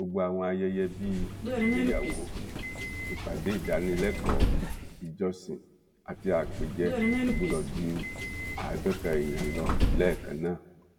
gbogbo àwọn ayẹyẹ bíi ìgbéyàwó ìpàdé ìdánilẹ́kọ̀ọ́ ìjọsìn àti àpèjẹ kò gbọdọ̀ ju àádọ́ta èèyàn lọ lẹ́ẹ̀kan náà